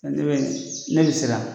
Ne bɛ siran